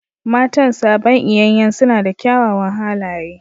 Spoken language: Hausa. Matan sabon iyanyan suna da kyawawan halaye